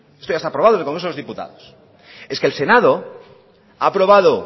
esto ya está aprobado en el congreso de los diputados es que el senado ha aprobado